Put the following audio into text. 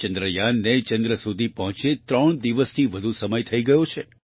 ચંદ્રયાનને ચંદ્ર સુધી પહોંચ્યે ત્રણ દિવસથી વધુ સમય થઈ ગયો છે